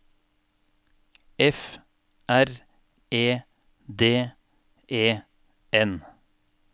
F R E D E N